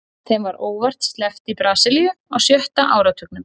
Þeim var óvart sleppt í Brasilíu á sjötta áratugnum.